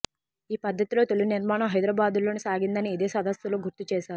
ఈ పద్ధతిలో తొలి నిర్మాణం హైదరాబాద్లోనే సాగిందని ఇదే సదస్సులో గుర్తు చేశారు